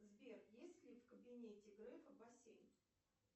сбер есть ли в кабинете грефа бассейн